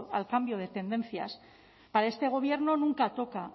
al cambio de tendencias para este gobierno nunca toca